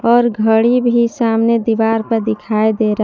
और घड़ी भी सामने दीवार पर दिखाई दे रहा--